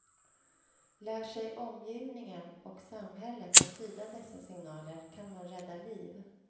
Lär sig omgivningen och samhället att tyda dessa signaler kan man rädda liv.